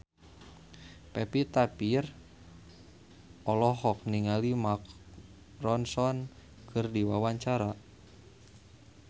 Pevita Pearce olohok ningali Mark Ronson keur diwawancara